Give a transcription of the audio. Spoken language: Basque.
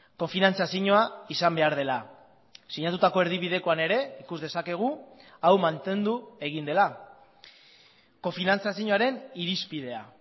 kofinantzazioa izan behar dela sinatutako erdibidekoan ere ikus dezakegu hau mantendu egin dela kofinantzazioaren irizpidea